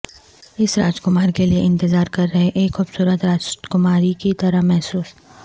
اس راجکمار کے لئے انتظار کر رہے ایک خوبصورت راجکماری کی طرح محسوس